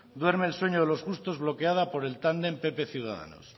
duerme el sueño de los justos bloqueada por el tándem pp ciudadanos